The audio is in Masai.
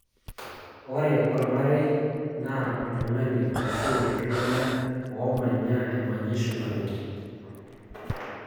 ore olmarei naa oltung`ani ashu iltunganak oomanya emanyisho nabo.